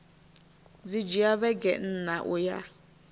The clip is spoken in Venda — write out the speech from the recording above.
dzi dzhia vhege nṋa uya